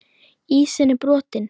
Ísinn brotinn